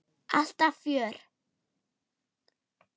Alltaf fjör.